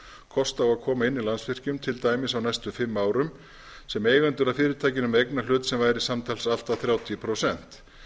kost á að koma inn í landsvirkjun til dæmis á næstu fimm árum sem eigendur að fyrirtækinu með eignarhlut sem væri samtals allt að þrjátíu prósent